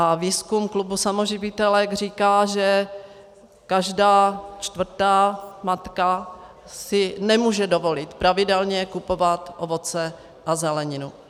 A výzkum klubu samoživitelek říká, že každá čtvrtá matka si nemůže dovolit pravidelně kupovat ovoce a zeleninu.